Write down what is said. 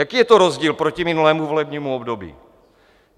Jaký je to rozdíl proti minulému volebnímu období?